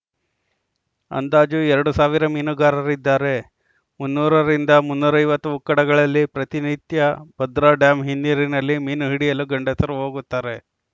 ಅಂದಾಜು ಎರಡು ಸಾವಿರ ಮೀನುಗಾರರಿದ್ದಾರೆ ಮುನ್ನೂರ ರಿಂದ ಮುನ್ನೂರ ಐವತ್ತು ಉಕ್ಕಡಗಳಲ್ಲಿ ಪ್ರತಿ ನಿತ್ಯಭದ್ರಾ ಡ್ಯಾಂ ಹಿನ್ನೀರಿನಲ್ಲಿ ಮೀನು ಹಿಡಿಯಲು ಗಂಡಸರು ಹೋಗುತ್ತಾರೆ